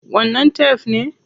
Wannan tef ne?